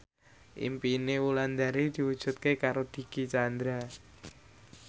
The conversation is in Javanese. impine Wulandari diwujudke karo Dicky Chandra